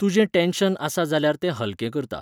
तुजें टॅन्शन आसा जाल्यार तें हल्कें करता.